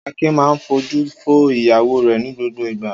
Akin máa ń fojú fo ìyàwó rẹ̀ ní gbogbo ìgbà.